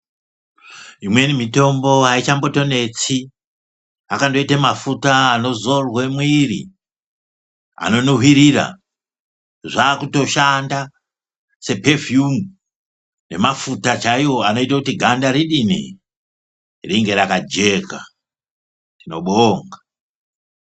Imweni mitombo aichatombonetsi akandoita mafuta anozorwa mwiri anonuhwirira zvakutoshanda sepefiyumu nemafuta chaiwo anoita kuti ganda ridini ringe rakajeka tinobonga.